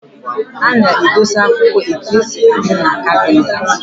A na-edosi akwụkwọ etu o si adị n'kabịnetị.